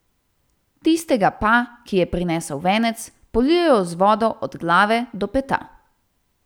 Tistega pa, ki je prinesel venec, polijejo z vodo od glave do peta.